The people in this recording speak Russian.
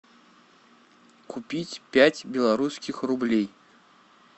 купить пять белорусских рублей